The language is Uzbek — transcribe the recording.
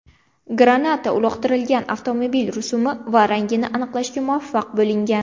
Granata uloqtirilgan avtomobil rusumi va rangini aniqlashga muvaffaq bo‘lingan.